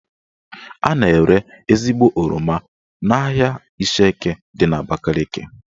A na-ere ezigbo oroma n'ahia Ishieke dị n'Abakaliki